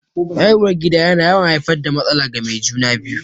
Haihuwar gida yana yawan haifar da matsala ga mai juna-biyu.